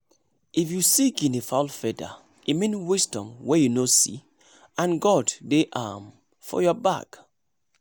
if you see guinea fowl feather e mean wisdom wey you no see and and god dey um your back